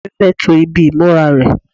ìyá mi fẹ́ to ibi ìmúra rẹ̀